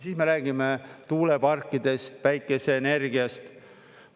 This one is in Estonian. Siis me räägime tuuleparkidest, päikeseenergiast.